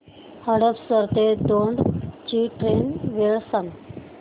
हडपसर ते दौंड ची ट्रेन वेळ सांग